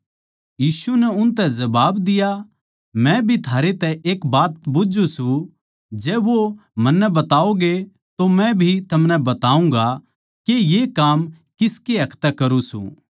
यीशु नै उनतै जबाब दिया मै भी थारै तै एक बात बुझ्झु सूं जै वो मन्नै बताओगे तो मै भी थमनै बताऊँगा के ये काम किस हक तै करूँ सूं